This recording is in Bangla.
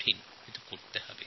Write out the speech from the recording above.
কিন্তু আমাদের করতে হবে